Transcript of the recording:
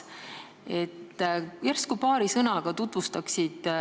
Järsku paari sõnaga tutvustad seda.